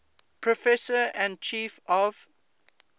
professor and chief of